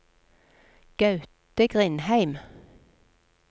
Gaute Grindheim